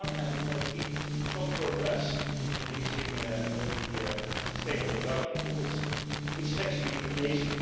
On the one hand, it has made some progress in reaching the sustainable development goals, which is actually amazing.